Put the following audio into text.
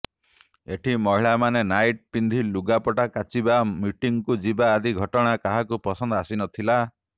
ଏଠି ମହିଳାମାନେ ନାଇଟି ପିନ୍ଧି ଲୁଗାପଟା କାଚିବା ମିଟିଂକୁ ଯିବା ଆଦି ଘଟଣା କାହାକୁ ପସନ୍ଦ ଆସିନଥିଲା